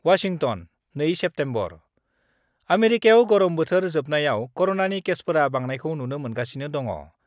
Washington, 2 September: आमेरिकायाव गरम बोथोर जोबनायाव कर'नानि केसफोराव बांनायखौ नुनो मोनगासिनो दङ।